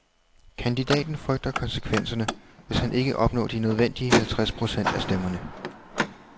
Kandidaten frygter konsekvenserne, hvis ikke han opnår de nødvendige halvtreds procent af stemmerne.